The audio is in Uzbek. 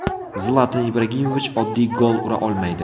Zlatan Ibragimovich oddiy gol ura olmaydi.